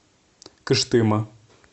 кыштыма